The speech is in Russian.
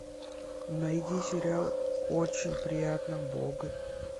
найди сериал очень приятно бог